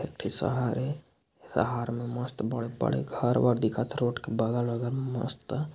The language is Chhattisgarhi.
एक ठ शहर हे शहर में मस्त बड़े बड़े घर वर दिखत रोड के बगल- वगल मे मस्त--